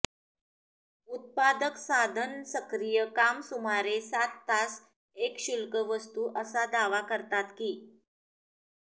उत्पादक साधन सक्रिय काम सुमारे सात तास एक शुल्क वस्तू असा दावा करतात की